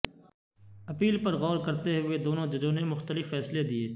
appeal پر غور کرتے ہوئے دونوں ججوں نے مختلف فیصلے دیے